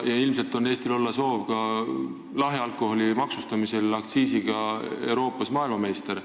Ilmselt on Eestil soov olla lahja alkoholi maksustamisel aktsiisi poolest Euroopa meister.